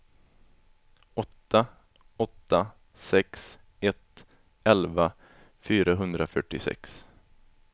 åtta åtta sex ett elva fyrahundrafyrtiosex